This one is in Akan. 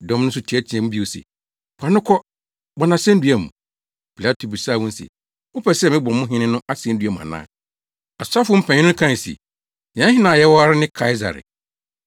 Dɔm no nso teɛteɛɛ mu bio se, “Fa no kɔ! Bɔ no asennua mu!” Pilato bisaa wɔn se, “Mopɛ sɛ mebɔ mo hene no asennua mu ana?” Asɔfo mpanyin no kae se, “Yɛn hene a yɛwɔ ara ne Kaesare!”